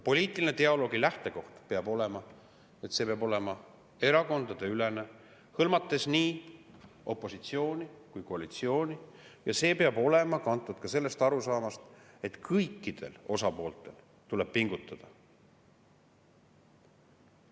Poliitilise dialoogi lähtekoht on, et see peab olema erakondadeülene, hõlmates nii opositsiooni kui koalitsiooni, ja see peab olema kantud ka sellest arusaamast, et kõikidel osapooltel tuleb pingutada.